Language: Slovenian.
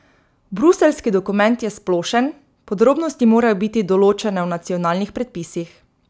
Bruseljski dokument je splošen, podrobnosti morajo biti določene v nacionalnih predpisih.